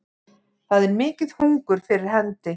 Það er mikið hungur fyrir hendi